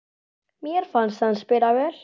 Mér fannst hann spila vel.